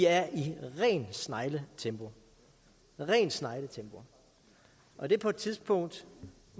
er i rent snegletempo rent snegletempo og det på et tidspunkt